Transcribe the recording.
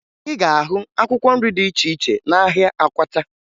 Ị ga-ahụ akwụkwọ nri dị iche iche n'ahịa Akwata